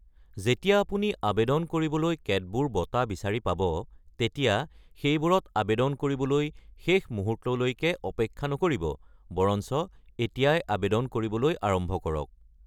যেতিয়া আপুনি আবেদন কৰিবলৈ কেতবোৰ বঁটা বিচাৰি পাব, তেতিয়া সেইবোৰত আবেদন কৰিবলৈ শেষ মুহূৰ্তলৈকে অপেক্ষা নকৰিব, বৰঞ্চ এতিয়াই আবেদন কৰিবলৈ আৰম্ভ কৰক।